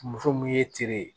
Muso mun ye teri ye